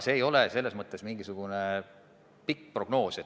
See ei ole mingisugune pikk prognoos.